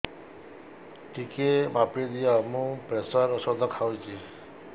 ଟିକେ ମାପିଦିଅ ମୁଁ ପ୍ରେସର ଔଷଧ ଖାଉଚି